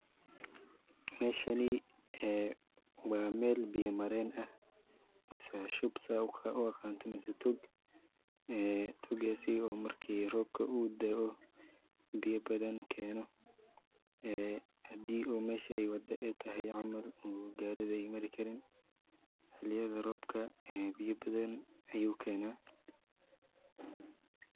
Meshani ee waa Mel biya maren ah mise shub sida uu aqanto mise tog, ee togaasi oo marki robka uu de'eo biya badan keeno ee hadii mesha ay wada ay tahay camal oo gariga ay mari karin, xiliyada robka biya badan ayu keena